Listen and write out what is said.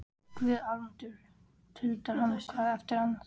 Guð almáttugur tuldrar hann hvað eftir annað.